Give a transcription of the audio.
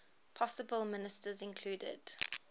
possible ministers included